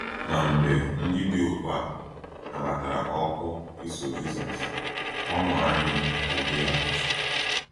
Ma mgbe ndị dị otu a nabatara oku iso Jisọs, ọṅụ anyị adịghị atụfu.